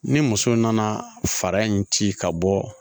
Ni muso nana fara in ci ka bɔ